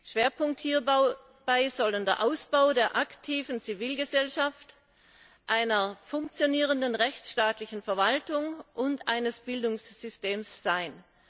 Schwerpunkt hierbei soll der Ausbau der aktiven Zivilgesellschaft, einer funktionierenden rechtsstaatlichen Verwaltung und eines Bildungssystems sein.